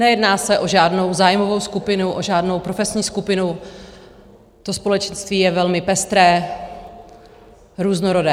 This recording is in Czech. Nejedná se o žádnou zájmovou skupinu, o žádnou profesní skupinu, to společenství je velmi pestré, různorodé.